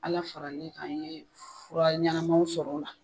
Ala faral'i kan i ye fura ɲanamaw sɔr'o la.